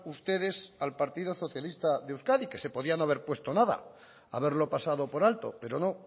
ustedes al partido socialista de euskadi que se podía no haber puesto nada haberlo pasado por alto pero no